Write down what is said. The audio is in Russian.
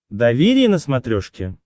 доверие на смотрешке